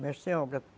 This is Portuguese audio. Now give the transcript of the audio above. Mestre de obra.